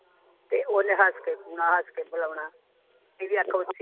ਤੇ ਓਹਨੇ ਹਸ ਕੇ ਇਨਾ ਹਸ ਕੇ ਬੁਲਾਉਣਾ ਅੱਖ ਓਹਦੀ